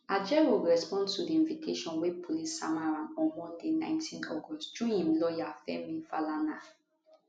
ajaero respond to di invitation wey police sama am on monday 19 august through im lawyer femi falana